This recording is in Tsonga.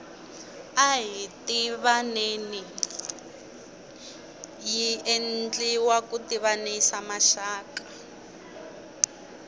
ahi tivaneni yi enldiwa ku tivanisa maxaka